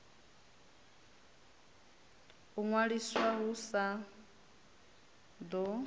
u ṅwaliswa hu sa ḓo